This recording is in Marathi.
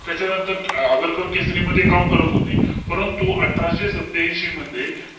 त्याच्यानंतर आगरकर केसरी मध्ये काम करत होते. परंतु, अठराशे संत्त्यांशी मध्ये,